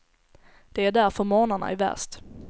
Det är därför morgnarna är värst.